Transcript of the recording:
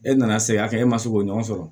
E nana se a kɛ e ma se k'o ɲɔgɔn sɔrɔ